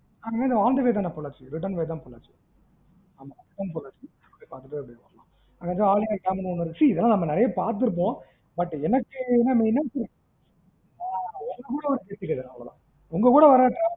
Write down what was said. ah on the way ல இல்லம்மா மா பொள்ளாச்சி return ல தான் பொள்ளாச்சி ஆமா return போற வழில அப்படியே பாத்துட்டு அப்டியே போலாம், அங்க தான் ஆழியார் டம் லாம் இருக்கு, see இதல்லாம் நம்ம நிறைய பாத்துருப்போம், but எனக்கு என்னன்னா main ஆ உங்க கூட வரணும்னு ஒரு ஆசை அவளோ தான் என்ன,